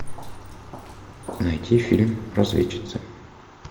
найти фильм разведчицы